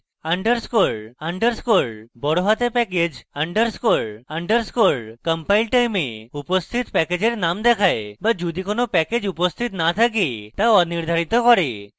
underscore underscore package সব বড়হাতে underscore underscore compile time উপস্থিত প্যাকেজের name দেখায় বা যদি কোনো প্যাকেজ উপস্থিত no থাকলে তা অনির্ধারিত হয়